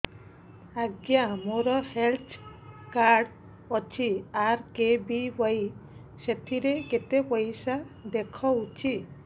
ଆଜ୍ଞା ମୋର health card ଅଛି ଆର୍.କେ.ବି.ୱାଇ ସେଥିରେ କେତେ ପଇସା ଦେଖଉଛି